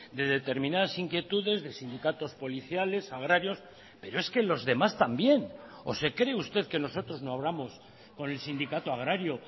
de determinadas inquietudes de sindicatos policiales agrarios pero es que los demás también o se cree usted que nosotros no hablamos con el sindicato agrario